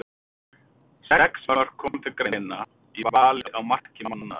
Sex mörk komu til greina í vali á marki mánaðarins.